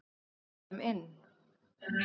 Við förum inn!